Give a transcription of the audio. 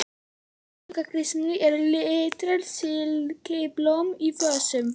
Í gluggakistunni eru litrík silkiblóm í vösum.